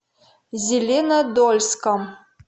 зеленодольском